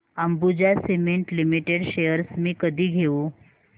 Ambuja cement limited shares मी कधी घेऊ